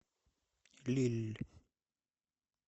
лилль